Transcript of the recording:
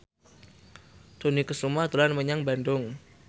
Dony Kesuma dolan menyang Bandung